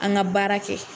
An ka baara kɛ